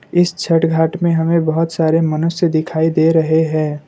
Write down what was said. इस छठ घाट में हमें बहुत सारे मनुष्य दिखाई दे रहे हैं।